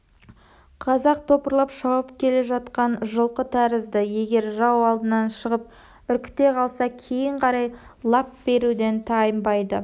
қазақ топырлап шауып келе жатқан жылқы тәрізді егер жау алдынан шығып үркіте қалса кейін қарай лап беруден тайынбайды